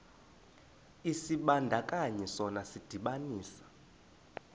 isibandakanyi sona sidibanisa